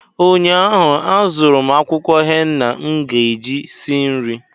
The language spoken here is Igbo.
ụnyaahụ, azụrụ m akwụkwọ henna m ga-eji si nri